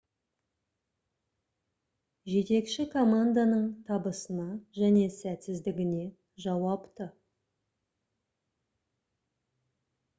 жетекші команданың табысына және сәтсіздігіне жауапты